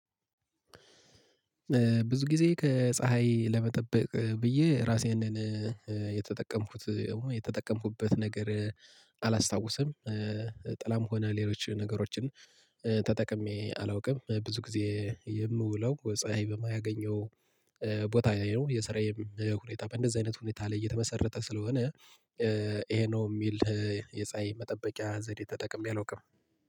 ብዙ ጊዜ ከፀሀይ ለመጠበቅ ብዬ ራሴን የተጠቀምኩት የተጠቀምኩበት ነገር አላስታውስም ጥላም ሆነ ሌሎች ነገሮችን ተጠቅሜ አላውቅም። ብዙ ጊዜ የምውለው ፀሀይ በማያገኘው ቦታ ላይ ነው። የሰራዬ ሁኔታ በእንደዚህ አይነት ሁኔታ ላይ እየተመሰረተ ስለሆነ ይሄ ነው የሚል የፀሀይ መጠበቂያ ዘዴ ተጠቅሜ አላውቅም